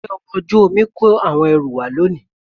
Ǹjẹ́ ọkọ̀ ojú omi kó àwọn ẹrù wá lánàá?